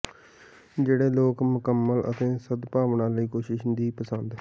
ਜਿਹੜੇ ਲੋਕ ਮੁਕੰਮਲ ਅਤੇ ਸਦਭਾਵਨਾ ਲਈ ਕੋਸ਼ਿਸ਼ ਦੀ ਪਸੰਦ